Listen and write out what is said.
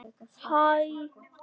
Æi ég veit það ekki.